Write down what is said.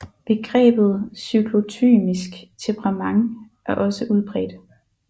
Begrebet cyklotymisk temperament er også udbredt